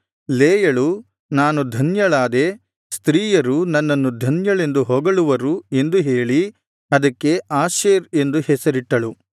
ಲೇಯಳು ನಾನು ಧನ್ಯಳಾದೆ ಸ್ತ್ರೀಯರು ನನ್ನನ್ನು ಧನ್ಯಳೆಂದು ಹೊಗಳುವರು ಎಂದು ಹೇಳಿ ಅದಕ್ಕೆ ಆಶೇರ್ ಎಂದು ಹೆಸರಿಟ್ಟಳು